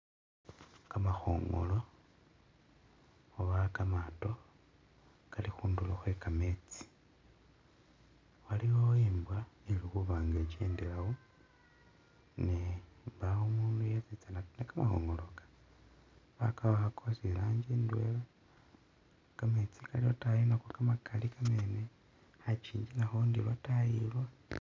Kamakhongolo oba kamato kalikhundulo khwekametsi waliwo imbwa ili khuba nga'ikendelawo ne'mbawo umundu yesitsana khumakhongolaka bakawakha kosi iranjii indwela kametsi kaali lwataayi Nako kamakali kamene khakinji nakho ndi lwataayi lwo